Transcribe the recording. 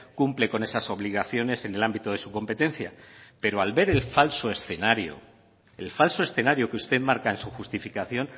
cumple con esas obligaciones en el ámbito de su competencia pero al ver el falso escenario el falso escenario que usted marca en su justificación